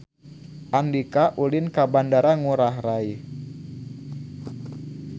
Andika ulin ka Bandara Ngurai Rai